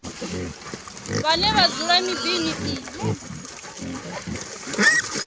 vhane vha dzula miḓini i